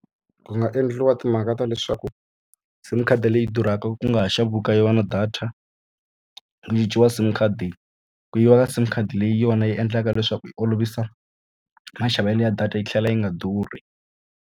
Ku nga endliwa timhaka ta leswaku sim card leyi durhaka ku nga ha xaviwi ka yona data ku cinciwa sim card ku yi wa ka sim card leyi yona yi endlaka leswaku yi olovisa maxavelo ya data yi tlhela yi nga durhi.